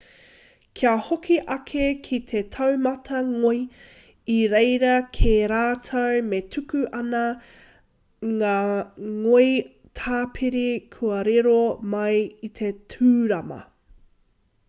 kia hoki ake ki te taumata ngoi i reira kē rātou me tuku atu ngā ngoi tāpiri kua riro mai i te tūrama